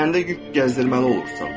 Üzərində yük gəzdirməli olursan.